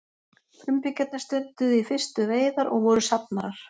frumbyggjarnir stunduðu í fyrstu veiðar og voru safnarar